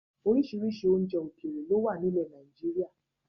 Oríṣiríṣi oúnjẹ ókéré ló wà ní ilẹ̀ Nàìjíríà